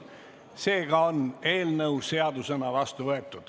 Seega on eelnõu seadusena vastu võetud.